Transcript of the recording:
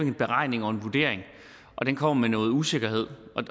en beregning og en vurdering den kommer med noget usikkerhed